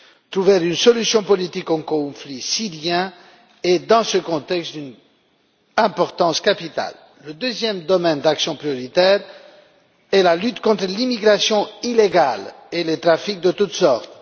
Trouver une solution politique au conflit syrien est, dans ce contexte, d'une importance capitale. Le deuxième domaine d'action prioritaire est la lutte contre l'immigration illégale et les trafics de toutes sortes.